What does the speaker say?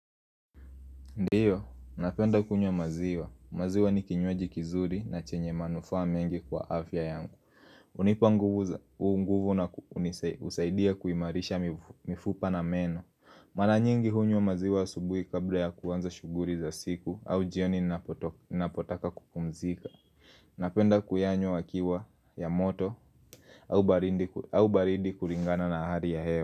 Ndiyo, napenda kunywa maziwa, maziwa ni kinywaji kizuri na chenye manufa mengi kwa afya yangu hunipa nguvu na husaidia kuimarisha mifupa na meno Mara nyingi hunywa maziwa asubuhi kabla ya kuanza shuguli za siku au jioni ninapotaka kukumzika Napenda kuyanywa yakiwa ya moto au baridi kulingana na hali ya hewa.